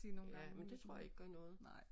Ja men det tror jeg ikke gør noget